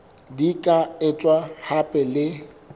di ka etswa hape le